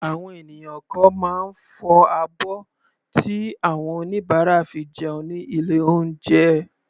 Àwọn ènìyàn kan máa ń fọ abọ́ tí àwọn oníbàárà fi jẹun ní ilé oúnjẹ.